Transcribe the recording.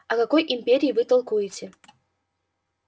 о какой империи вы толкуете